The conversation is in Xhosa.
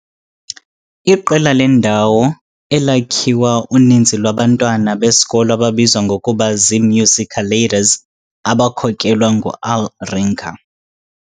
iqela lendawo "elakhiwa uninzi lwabantwana" besikolo ababizwa ngokuba "ziMusicaladers", abakhokelwa "nguAl" Rinker .